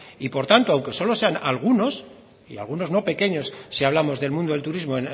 y por tanto aunque solo sean algunos y algunos no pequeños si hablamos del mundo del turismo